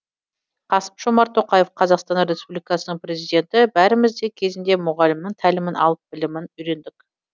қасым жомарт тоқаев қазақстан республикасының президенті бәріміз де кезінде мұғалімнің тәлімін алып білімін үйрендік